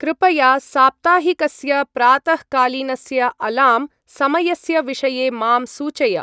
कृपया साप्ताहिकस्य प्रातःकालीनस्य अलार्म समयस्य विषये मां सूचय।